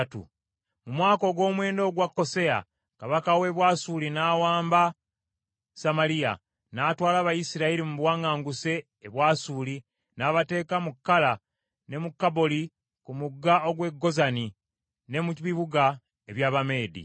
Mu mwaka ogw’omwenda ogwa Koseya, kabaka w’e Bwasuli n’awamba Samaliya, n’atwala Abayisirayiri mu buwaŋŋanguse e Bwasuli, n’abateeka mu Kala, ne mu Kaboli ku mugga ogw’e Gozani, ne mu bibuga eby’Abameedi.